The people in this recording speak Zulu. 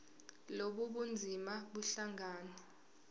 lobu bunzima buhlangane